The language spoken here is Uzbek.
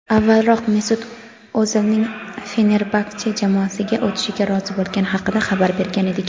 avvalroq Mesut O‘zilning "Fenerbaxche" jamoasiga o‘tishga rozi bo‘lgani haqida xabar bergan edik.